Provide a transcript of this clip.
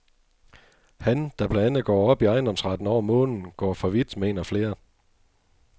Han, der blandt andet går op i ejendomsretten over månen, går for vidt, mener flere.